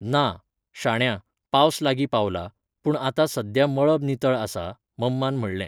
ना, शाण्या, पावस लागीं पावला, पूण आतां सद्या मळब नितळ आसा, मम्मान म्हणलें.